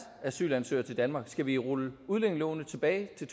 asylansøgere til danmark skal vi rulle udlændingeloven tilbage